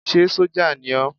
Ṣé sójà ni ó?